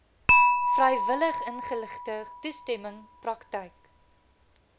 vrywilligingeligte toestemming praktyk